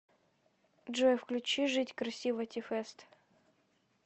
джой включи жить красиво ти фэст